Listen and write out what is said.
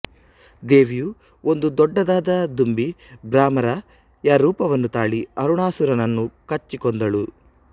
ದೇವಿಯು ಒಂದು ದೊಡ್ಡದಾದ ದುಂಬಿ ಭ್ರಮರ ಯ ರೂಪವನ್ನು ತಾಳಿ ಅರುಣಾಸುರನನ್ನು ಕಚ್ಚಿ ಕೊಂದಳು